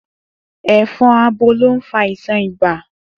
È̩fo̩n abo ló ń fa àìsàn ibà